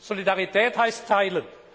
Solidarität heißt teilen.